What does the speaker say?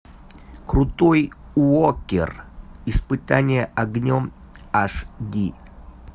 крутой уокер испытание огнем аш ди